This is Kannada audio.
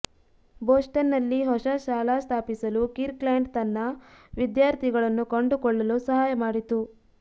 ಬೋಸ್ಟನ್ನಲ್ಲಿ ಹೊಸ ಶಾಲಾ ಸ್ಥಾಪಿಸಲು ಕಿರ್ಕ್ಲ್ಯಾಂಡ್ ತನ್ನ ವಿದ್ಯಾರ್ಥಿಗಳನ್ನು ಕಂಡುಕೊಳ್ಳಲು ಸಹಾಯ ಮಾಡಿತು